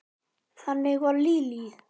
Þannig var Lillý.